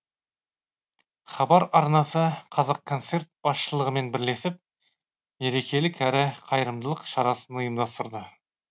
хабар арнасы қазақконцерт басшылығымен бірлесіп мерекелік әрі қайырымдылық шарасын ұйымдастырды